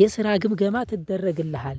የስራ ግምገማ ትደረግልሃል?